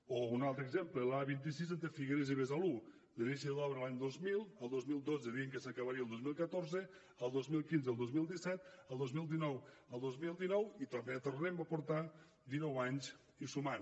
o un altre exemple l’a vint sis entre figueres i besalú l’inici de l’obra l’any dos mil el dos mil dotze deien que s’acabaria al dos mil catorze el dos mil quinze al dos mil disset el dos mil dinou al dos mil dinou i tornem a portar dinou anys i sumant